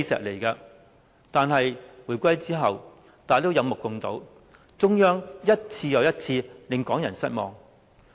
可是，回歸之後，大家有目共睹，中央一次又一次令港人失望。